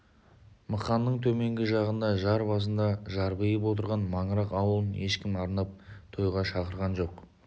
мықанның төменгі жағында жар басында жарбиып отырған маңырақ ауылын ешкім арнап тойға шақырған жоқ